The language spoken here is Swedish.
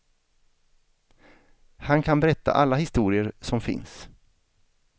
Han kan berätta alla historier som finns.